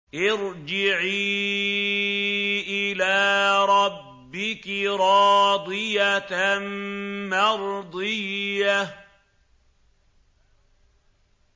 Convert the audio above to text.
ارْجِعِي إِلَىٰ رَبِّكِ رَاضِيَةً مَّرْضِيَّةً